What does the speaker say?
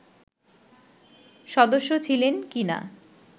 সদস্য ছিলেন কি-না